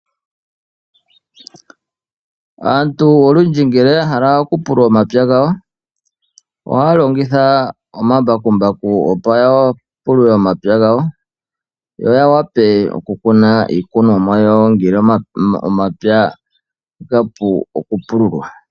Aantu olundji ngele ya hala oku pulula omapya gawo. Ohaya longitha omambakumbaku opo ya pulule omapya gawo . Yo ya wape oku kuna iikunomwa yawo ngele omapya gapu oku pululwa.